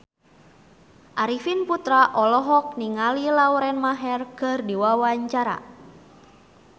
Arifin Putra olohok ningali Lauren Maher keur diwawancara